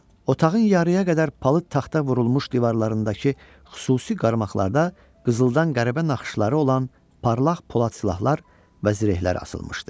Otağın yarıya qədər palıd taxta vurulmuş divarlarındakı xüsusi qarmaqlarda qızıldan qəribə naxışları olan parlaq polad silahlar və zirehlər asılmışdı.